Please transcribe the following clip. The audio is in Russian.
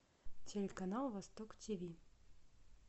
телеканал восток тв